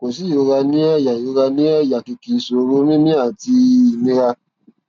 kò sí ìrora ní àyà ìrora ní àyà kìkì ìṣòro mímí àti ìnira